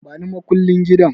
Bani makullin gidan